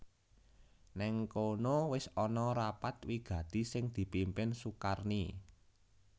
Nèng kono wis ana rapat wigati sing dipimpin Sukarni